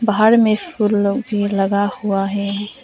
बाहर में फूल लोग भी लगा हुआ है।